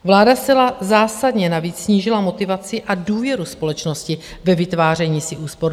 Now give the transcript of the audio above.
Vláda zcela zásadně navíc snížila motivaci a důvěru společnosti ve vytváření si úspor.